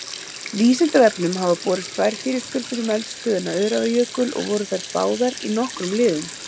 Vísindavefnum hafa borist tvær fyrirspurnir um eldstöðina Öræfajökul og voru þær báðar í nokkrum liðum.